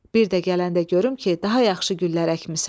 Bir də gələndə görüm ki, daha yaxşı güllər əkmisən.